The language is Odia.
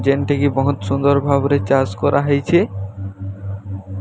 ଜେତି କି ବହୁତ୍ ସୁନ୍ଦର ଭାବରେ ଚାସ୍ କରା ହେଇଛି।